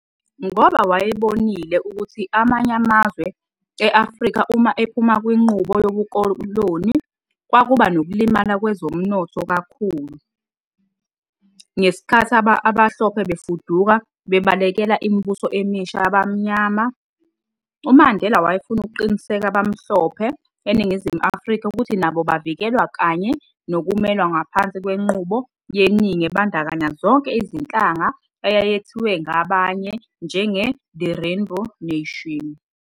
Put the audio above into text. Ngoba wayebonile ukuthi amanye amazwe e-Afrika uma ephuma kwinqubo yobukokloni, kwakuba nokulimala kwezomnotho kakhulu ngesikhathi abahlophe befuduka bebalekela imibuso emisha yabamnyama, uMandela wayefuna ukuqinisekisa abamhlophe eNingizimu Afrika ukuthi nabo bavikelwe kanye nokumelwa ngaphansi kwenqubo yeningi ebandakanya zonke izinhlanga eyayethiwe ngabanye njenge-"the Rainbow Nation".